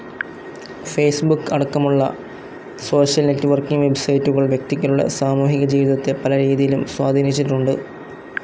Facebook അടക്കമുള്ള social networking വെബ്‌സൈറ്റുകൾ വ്യക്തികളുടെ സാമൂഹികജീവിതത്തെ പല രീതിയിലും സ്വാധീനിച്ചിട്ടുണ്ട്.